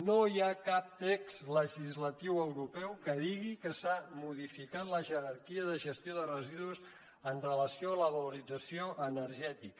no hi ha cap text legislatiu europeu que digui que s’ha modificat la jerarquia de gestió de residus amb relació a la valorització energètica